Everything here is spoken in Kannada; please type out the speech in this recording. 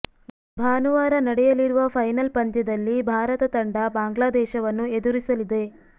ಭಾನುವಾರ ನಡೆಯಲಿರುವ ಫೈನಲ್ ಪಂದ್ಯದಲ್ಲಿ ಭಾರತ ತಂಡ ಬಾಂಗ್ಲಾ ದೇಶವನ್ನು ಎದುರಿಸಲಿದೆ